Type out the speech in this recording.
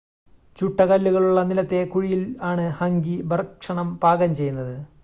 ചുട്ട കല്ലുകളുള്ള നിലത്തെ കുഴിയിൽ ആണ് ഹംഗി ഭക്ഷണം പാകം ചെയ്യുന്നത്